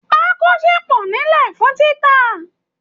Pákó ṣì pọ̀ nílẹ̀ fún títà